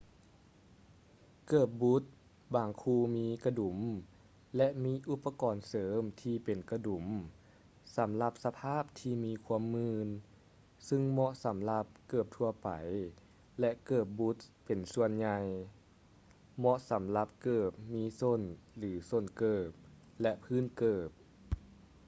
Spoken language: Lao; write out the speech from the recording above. ເກີບບຸດ ບາງຄູ່ມີກະດຸມ ແລະ ມີອຸປະກອນເສີມທີ່ເປັນກະດຸມ ສຳລັບສະພາບທີ່ມີຄວາມມື່ນ ຊຶ່ງເໝາະສໍາລັບເກີບທົ່ວໄປ ແລະ ເກີບບຸດເປັນສ່ວນໃຫຍ່ ເໝາະສຳລັບເກີບມີສົ້ນ ຫຼື ສົ້ນເກີບ ແລະ ພື້ນເກີບ